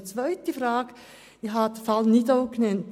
Eine zweite Frage: Ich habe den Fall Nidau genannt.